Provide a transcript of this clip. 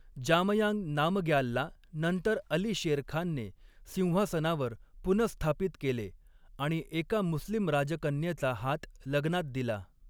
जामयांग नामग्यालला नंतर अली शेरखानने सिंहासनावर पुनःस्थापित केले आणि एका मुस्लिम राजकन्येचा हात लग्नात दिला.